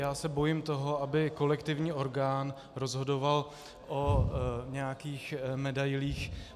Já se bojím toho, aby kolektivní orgán rozhodoval o nějakých medailích.